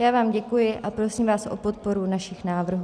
Já vám děkuji a prosím vás o podporu našich návrhů.